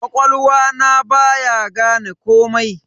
Ƙwaƙwalwa na baya gane komai.